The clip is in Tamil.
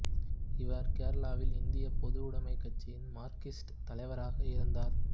இவர் கேரளாவில் இந்திய பொதுவுடமைக் கட்சியின் மார்க்சிஸ்ட் தலைவராக இருந்தார்